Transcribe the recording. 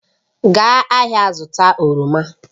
Gaa ahịa zụta oroma